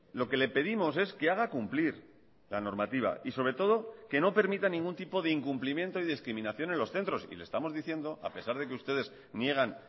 lo que le pedimos es que haga cumplir la normativa y sobre todo que no permita ningún tipo de incumplimiento y discriminación en los centros y le estamos diciendo a pesar de que ustedes niegan